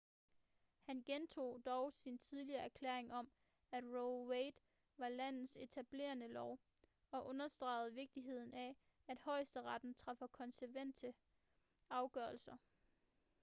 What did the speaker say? han gentog dog sin tidligere erklæring om at roe v wade var landets etablerede lov og understregede vigtigheden af at højesteretten træffer konsekvente afgørelser